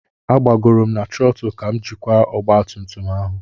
M gbagoro na trottle ka m jikwa ọgba tum tum ahụ.